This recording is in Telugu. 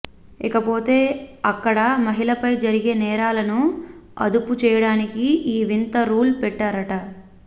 ఇకపోతే అక్కడ మహిళలపై జరిగే నేరాలను అదుపు చేయడానికే ఈ వింత రూల్ పెట్టారట